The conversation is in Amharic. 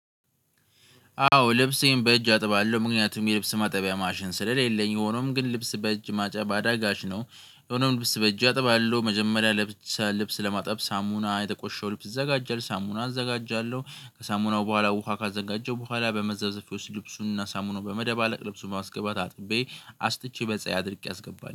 አዎ ልብሴን በእጅ አጥባለሁ ምክንያቱም የልብስ ማጠቢያ ማሽን ስለሌለኝ ሆኖም ግን ልብስ በእጅ ማጠብ አዳጋች ነው። ሆኖም ልብስ በእጅ አጥባለሁ መጀመሪያ ልብስ ለማጠብ ሳሙና የቆሸሸው ልብስ ይዘጋጃል ሳሙና አዘጋጃለሁ ከሳሙናው በኋላ ውሃ ካዘጋጀው በኋላ በመዘፍዘፊያ ውስጥ ልብሱንና ሳሙናዉን በመደባለቅ ልብሱን ማስገባት አጥቤ አስጥቼ በፀሀይ አድርቄ አስገባለሁ